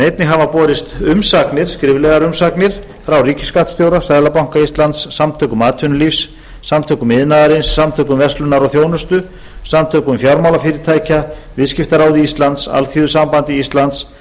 einnig hafa borist skriflegar umsagnir frá ríkisskattstjóra seðlabanka íslands samtökum atvinnulífsins samtökum iðnaðarins samtökum verslunar og þjónustu samtökum fjármálafyrirtækja viðskiptaráði íslands alþýðusambandi íslands